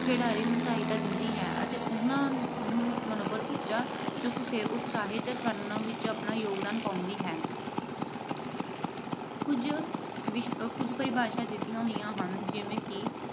ਖਿਡਾਰੀ ਨੂੰ ਸਹਾਇਤਾ ਦਿੰਦੀ ਹੈ ਅਤੇ ਉਹਨਾਂ ਨੂੰ ਮਨੋਬਲ ਉਚਾ ਚੁੱਕ ਕੇ ਉਤਸ਼ਾਹਿਤ ਕਰਨ ਵਿੱਚ ਯੋਗਦਾਨ ਪਾਉਂਦੀ ਹੈ। ਕੁਛ ਅਹ ਪਰਿਭਾਸ਼ਾਵਾਂ ਦਿੱਤੀਆਂ ਹੋਈਆਂ ਹਨ ਜਿਵੇਂ ਕਿ